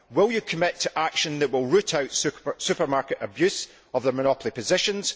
Will you commit to action that will root out supermarket abuse of their monopoly positions?